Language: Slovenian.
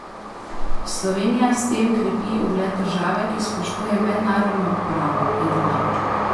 Slovenija s tem krepi ugled države, ki spoštuje mednarodno pravo, je dodal.